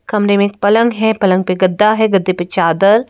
कमरे में एक पलंग है पलंग पे गद्दा है गद्धे पे चादर --